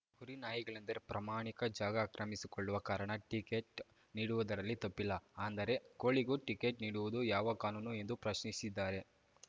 ಕುರಿ ನಾಯಿಗಳೆಂದರೆ ಪ್ರಯಾಣಿಕರ ಜಾಗ ಆಕ್ರಮಿಸಿಕೊಳ್ಳುವ ಕಾರಣ ಟಿಕೆಟ್‌ ನೀಡುವುದರಲ್ಲಿ ತಪ್ಪಿಲ್ಲ ಅಂದರೆ ಕೋಳಿಗೂ ಟಿಕೆಟ್‌ ನೀಡುವುದು ಯಾವ ಕಾನೂನು ಎಂದು ಪ್ರಶ್ನಿಸಿದ್ದಾರೆ